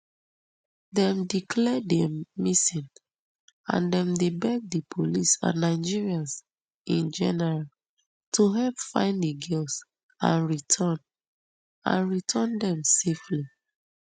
dem declare dem missing and dem dey beg di police and nigerians in general to help find di girls and return and return dem safely